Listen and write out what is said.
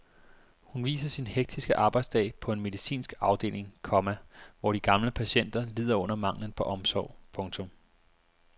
Hun viser sin hektiske arbejdsdag på en medicinsk afdeling, komma hvor de gamle patienter lider under manglen på omsorg. punktum